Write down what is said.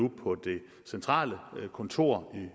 det centrale kontor i